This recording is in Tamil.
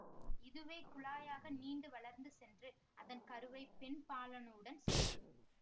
இதுவே குழாயாக நீண்டு வளர்ந்து சென்று அதன் கருவை பெண் பாலணுவுடன் சேர்த்தும்